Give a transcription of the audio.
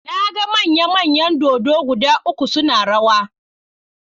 Na ga manya-manyan dodo guda uku suna rawa.